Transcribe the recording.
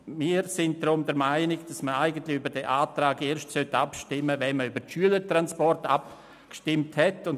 Wir sind der Meinung, man sollte über diesen Antrag erst nach der Abstimmung über die Schülertransporte abstimmen.